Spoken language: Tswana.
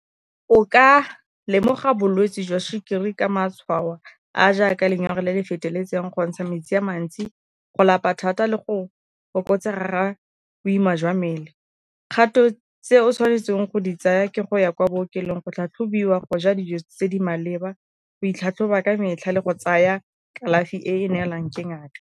O ka lemoga bolwetsi jwa sukiri ka matshwao a jaaka lenyora le le feteletseng, go ntsha metsi a mantsi, go lapa thata le go fokotsega ga a boima jwa mmele. Kgato tse o tshwanetseng go di tsaya ke go ya kwa bookelong, go tlhatlhobiwa, go ja dijo tse di maleba, go itlhatlhoba ka metlha, le go tsaya kalafi e e neelang ke ngaka.